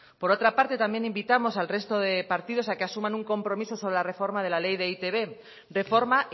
por otra parte también invitamos al resto de partidos a que asuman un compromiso sobre la reforma de la ley de e i te be de forma